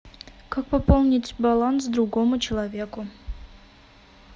как пополнить баланс другому человеку